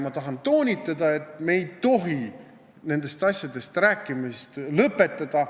Ma tahan toonitada, et me ei tohi nendest asjadest rääkimist lõpetada.